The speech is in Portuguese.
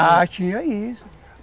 Há, tinha isso...